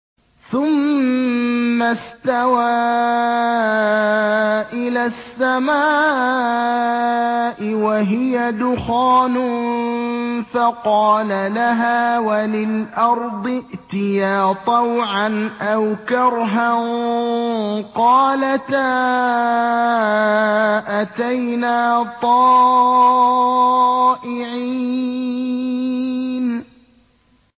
ثُمَّ اسْتَوَىٰ إِلَى السَّمَاءِ وَهِيَ دُخَانٌ فَقَالَ لَهَا وَلِلْأَرْضِ ائْتِيَا طَوْعًا أَوْ كَرْهًا قَالَتَا أَتَيْنَا طَائِعِينَ